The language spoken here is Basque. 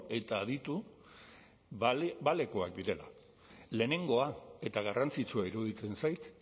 eta aditu balekoak direla lehenengoa eta garrantzitsua iruditzen zait